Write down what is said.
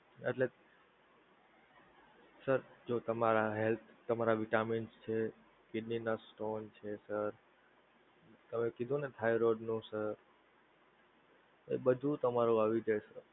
એટલે sir જો તમારા health તમારા vitamin છે kidney ના stone છે sir તમે કીધું ને thyroid નું છે એ બધુ તમારું આવી જાય